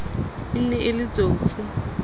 e ne e le tsotsi